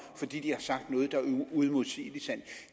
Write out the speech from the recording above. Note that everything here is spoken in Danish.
fordi de har sagt noget der er uimodsigeligt sandt